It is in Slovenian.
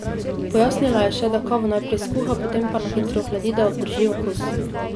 Pojasnila je še, da kavo najprej skuha, potem pa na hitro ohladi, da obdrži okus.